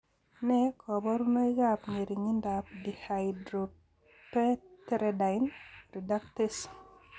Nee kabarunoikab ng'ering'indoab Dihydropteridine reductase?